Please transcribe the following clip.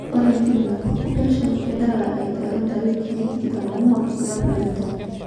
Ore ntimi napuku pesho kedala aiteru ntarikini 24 olapa le tomon.